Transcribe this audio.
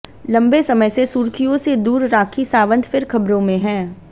लंबे समय से सुर्खियों से दूर राखी सावंत फिर खबरों में हैं